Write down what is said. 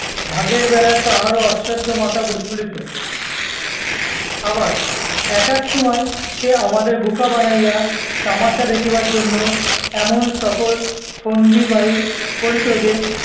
ভাগের বেলায় তাহারও অশ্চর্য মাথা বুলি খুলিত। আবার এক- এক সময় সে আমাদের বুকা বানাইয়া তামাশা দেখিবার জন্য এমন সকল ফন্দি বাহির করিত যে,